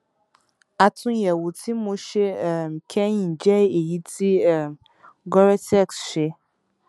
àtúnyẹwò tí mo ṣe um kẹyìn jẹ èyí tí um goretex ṣe